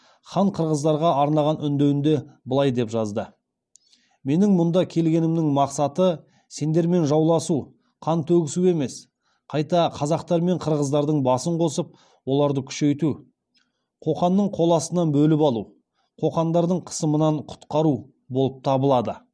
хан қырғыздарға арнаған үндеуінде былай деп жазды менің мұнда келгенімнің мақсаты сендермен жауласу қан төгісу емес қайта қазақтар мен қырғыздардың басын қосып оларды күшейту қоқанның қол астынан бөліп алу қоқандықтардың қысымынан құтқару болып табылады